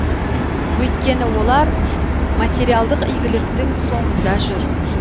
өйткені олар материалдық игіліктің соңында жүр